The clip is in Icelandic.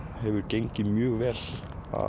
hefur gengið mjög vel